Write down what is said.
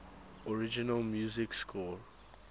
original music score